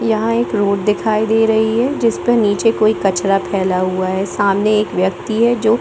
यहाँ एक रोड दिखाई दे रही है जिस मे नीचे कोई कचरा फैला हुआ है सामने एक व्यक्ति है जो --